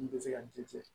N tɛ se ka n den cɛ